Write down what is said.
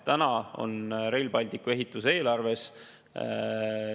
Täna on Rail Balticu ehitus eelarves.